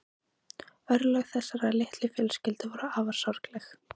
Örlög þessarar litlu fjölskyldu voru afar sorgleg.